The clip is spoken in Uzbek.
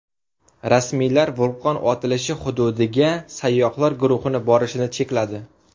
Rasmiylar vulqon otilishi hududiga sayyohlar guruhi borishini chekladi.